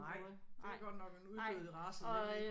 Nej det er godt nok en uddød race mon ikke